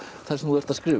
það sem þú ert að skrifa